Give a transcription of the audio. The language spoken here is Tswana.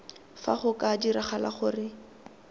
fa go ka diragala gore